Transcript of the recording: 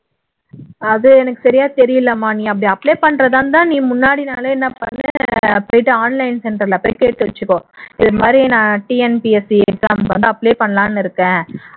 அது எனக்கு சரியா தெரியலைமா நீ அப்படி apply பண்றதா இருந்தா நீ முன்னாடி நாளே என்ன பண்ணு online center ல போய் கேட்டு வச்சுக்கோ இது மாதிரி TNPSC exam வந்து apply பண்ணலாம்னு இருக்கேன்